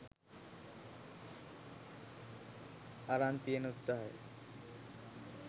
අරන් තියෙන උත්සහය